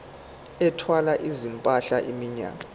ethwala izimpahla iminyaka